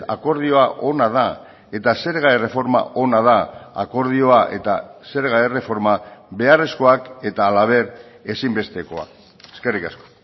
akordioa ona da eta zerga erreforma ona da akordioa eta zerga erreforma beharrezkoak eta halaber ezinbestekoa eskerrik asko